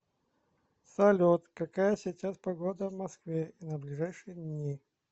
салют какая сейчас погода в москве и на ближайшие дни